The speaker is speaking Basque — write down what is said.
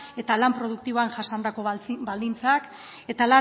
eta lan produktiboan jasandako baldintzak eta